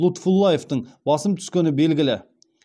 лутфуллаевтың басым түскені белгілі